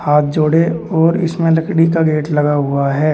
हाथ जोड़े और इसमें लकड़ी का गेट लगा हुआ है।